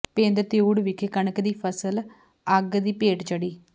ਪਿੰਡ ਤਿਊੜ ਵਿਖੇ ਕਣਕ ਦੀ ਫ਼ਸਲ ਅੱਗ ਦੀ ਭੇਟ ਚੜ੍ਹੀ